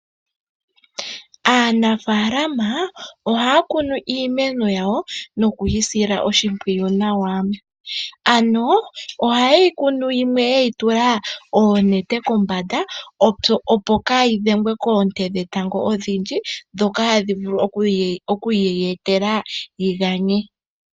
Aanafalama ohaya kunu iimeno yawo nokuyi sila oshimpwiyu nawa. Ano ohayeyi kunu yimwe yeyi tula oonete kombanda opo kayi dhengwe koonte dhetango odhindji ndhoka hadhi vulu oku yiye tela yi ganye.